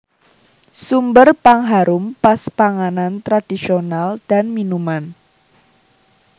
Sumber pengharum pas panganan tradisional dan minuman